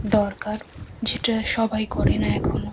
দরকার যেটা সবাই করে না এখনও।